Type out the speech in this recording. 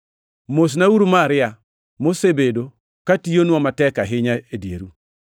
Mosnauru Maria, mosebedo katiyonwa matek ahinya e dieru.